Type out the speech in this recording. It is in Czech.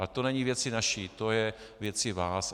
Ale to není věcí naší, to je věcí vás.